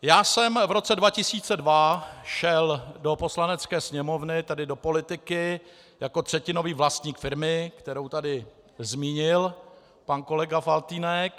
Já jsem v roce 2002 šel do Poslanecké sněmovny, tedy do politiky, jako třetinový vlastník firmy, kterou tady zmínil pan kolega Faltýnek.